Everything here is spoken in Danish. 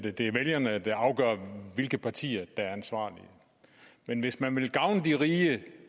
at det er vælgerne der afgør hvilke partier der er ansvarlige men hvis man vil gavne de rige